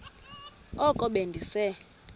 oko be ndise